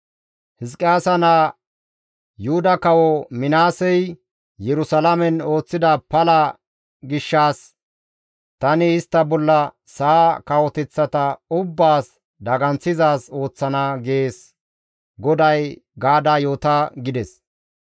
Hizqiyaasa naa, Yuhuda Kawo Minaasey Yerusalaamen ooththida pala gishshas tani istta bolla sa7a kawoteththata ubbaas daganththizaaz ooththana› gees gaada yoota» gides.